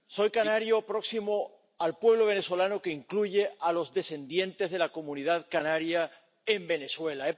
Señor presidente, soy canario, próximo al pueblo venezolano, que incluye a los descendientes de la comunidad canaria en Venezuela.